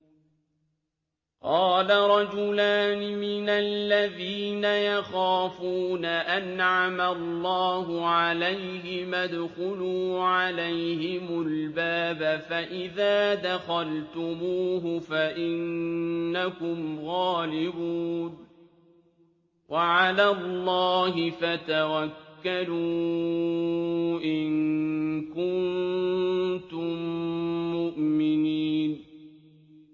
قَالَ رَجُلَانِ مِنَ الَّذِينَ يَخَافُونَ أَنْعَمَ اللَّهُ عَلَيْهِمَا ادْخُلُوا عَلَيْهِمُ الْبَابَ فَإِذَا دَخَلْتُمُوهُ فَإِنَّكُمْ غَالِبُونَ ۚ وَعَلَى اللَّهِ فَتَوَكَّلُوا إِن كُنتُم مُّؤْمِنِينَ